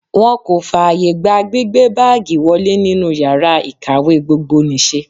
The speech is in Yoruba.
Wọ́n kò fààyè gba gbígbé báágìì wọlé nínú yàrá ìkàwé gbogbonìṣe.